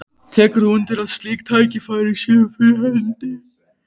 Tekur þú undir að slík tækifæri séu fyrir hendi?